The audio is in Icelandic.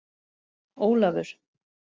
Ólafur